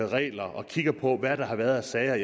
regler og kigger på hvad der har været af sager